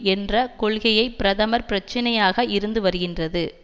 என்ற கொள்கையை பிரதமர் பிரச்சினையாக இருந்து வருகின்றது